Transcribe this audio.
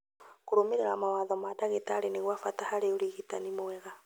Kũrũmĩrĩra mawatho ma ndagitarĩ nĩ gwa bata harĩ ũrigitani mwega